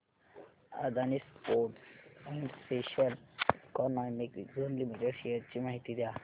Adani ports and special economic zone limited shares ची माहिती द्या